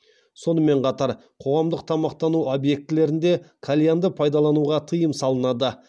сонымен қатар қоғамдық тамақтану объектілерінде кальянды пайдалануға тыйым салынады